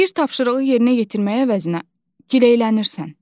Bir tapşırığı yerinə yetirmək əvəzinə giləylənirsən.